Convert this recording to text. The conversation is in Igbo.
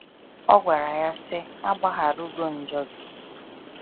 Ọ gwara ya sị,a gbaharugo njọ gị.